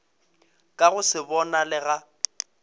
ka go se bonale ga